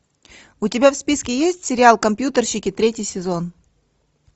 у тебя в списке есть сериал компьютерщики третий сезон